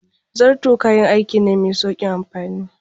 Zarto kayan aiki ne mai sauƙin amfani.